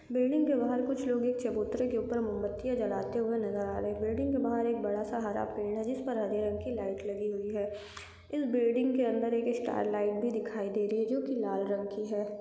Building के बाहर कुछ लोग एक चबूतरे के ऊपर मोमबत्तीयां जलाते हुए नजर आ रहे हैं बिल्डिंग के बाहर एक बड़ा सा हरा पेड़ है जिसपे हरे रंग की लाइट लगी हुई है इस बिल्डिंग के अंदर एक स्टार लाईट भी दिखाई दे रही है जो कि लाल रंग की है।